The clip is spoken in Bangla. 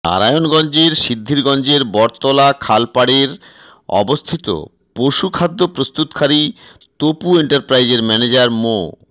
নারায়ণগঞ্জের সিদ্ধিরগঞ্জের বটতলা খাল পাড়ের অবস্থিত পশু খাদ্য প্রস্তুতকারী তপু এন্টারপ্রাইজের ম্যানেজার মো